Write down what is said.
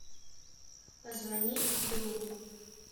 позвони другу